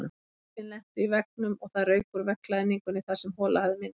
Höglin lentu í veggnum og það rauk úr veggklæðningunni þar sem hola hafði myndast.